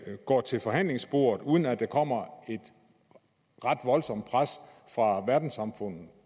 går til forhandlingsbordet uden at der kommer et ret voldsomt pres fra verdenssamfundet